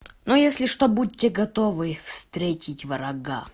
ну если что будьте готовы встретить врага